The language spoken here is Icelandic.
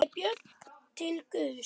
Þá leitaði Björn til Guðs.